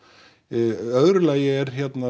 í öðru lagi er